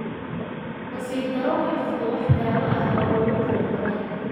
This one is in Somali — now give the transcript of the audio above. Nasiib darro, ma jirto wax daawo ah oo loogu talagalay dysplasiaka fiiqan.